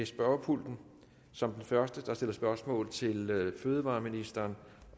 spørgepulten som den første der stiller spørgsmål til fødevareministeren